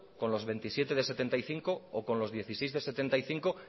con los veintisiete de setenta y cinco o con los dieciséis de setenta y cinco